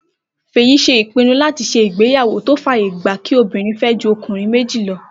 Fèyí pinnu láti ṣe ìgbéyàwó tó fàyè gba kí obìnrin fẹ́ ju ọkùnrin méjì lọ